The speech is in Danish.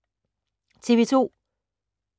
TV 2